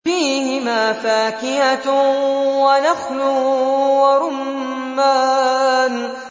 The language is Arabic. فِيهِمَا فَاكِهَةٌ وَنَخْلٌ وَرُمَّانٌ